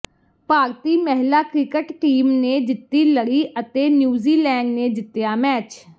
ਭਾਰਤੀ ਮਹਿਲਾ cricket team ਨੇ ਜਿੱਤੀ ਲੜੀ ਅਤੇ ਨਿਊਜ਼ੀਲੈਂਡ ਨੇ ਜਿੱਤਿਆ ਮੈਚ